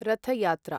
रथ यात्रा